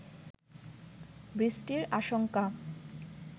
বৃষ্টির আশঙ্কা